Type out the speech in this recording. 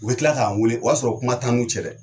U bɛ kila k'an wele o y'a sɔrɔ kuma tan n'u cɛ dɛ.